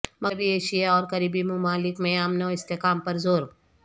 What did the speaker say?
مغربی ایشیا اور قریبی ممالک میں امن و استحکام پر زور